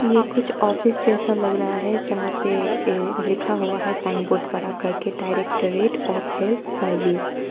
ये कुछ ऑफिस जैसा लग रहा है जहां पे लिखा हुआ साइन बोर्ड बड़ा करके डायरेक्टरेट ऑफ हेल्थ सर्विस ।